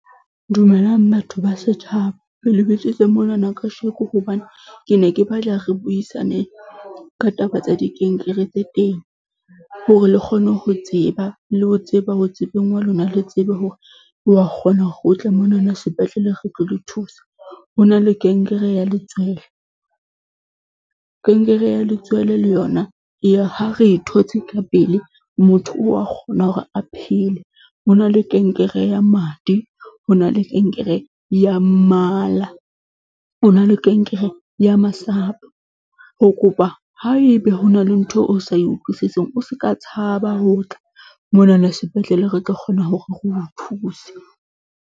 Dumelang batho ba setjhaba. Ke le bitsitse monana kajeno hobane ke ne ke batla re buisane ka taba tsa dikankere tse teng hore le kgone ho tseba, le ho tseba ho tsebeng ha lona, le tsebe hore wa kgona o tle monana sepetlele re tlo le thusa. Ho na le kankere ya letswele. Kankere ya letswele le yona ha re e thotse ka pele, motho wa kgona hore a phele. Ho na le kankere ya madi, ho na le kankere ya mala, ho na le kankere ya masapo, re kopa haebe ho na le ntho o sa e utlwisiseng o ska tshaba ho tla monana sepetlele re tlo kgona hore re o thuse.